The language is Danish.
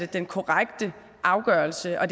den korrekte afgørelse og